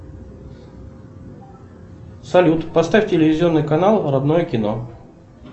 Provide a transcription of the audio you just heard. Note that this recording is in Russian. салют поставь телевизионный канал родное кино